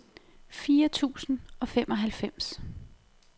fire tusind og femoghalvfems